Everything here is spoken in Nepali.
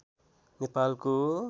नेपालको